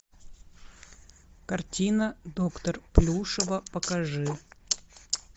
картина доктор плюшева покажи